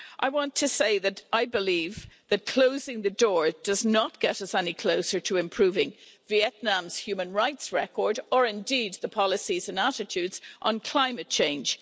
I want to say that I believe that closing the door does not get any closer to improving Vietnam's human rights record or indeed the policies and attitudes on climate change.